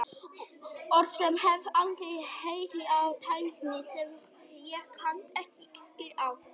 Orð sem ég hef aldrei heyrt yfir athafnir sem ég kann ekki skil á.